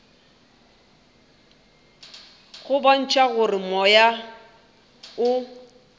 go bontšha gore moya o